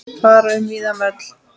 Fara um víðan völl.